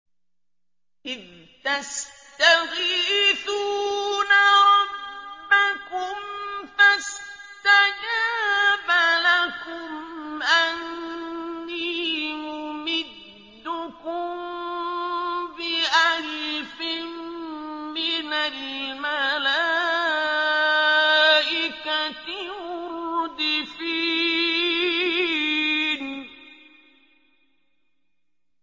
إِذْ تَسْتَغِيثُونَ رَبَّكُمْ فَاسْتَجَابَ لَكُمْ أَنِّي مُمِدُّكُم بِأَلْفٍ مِّنَ الْمَلَائِكَةِ مُرْدِفِينَ